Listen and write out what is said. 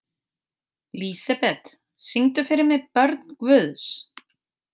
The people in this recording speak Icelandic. Lísebet, syngdu fyrir mig „Börn Guðs“.